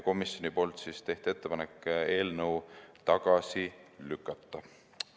Komisjon tegi ettepaneku eelnõu tagasi lükata.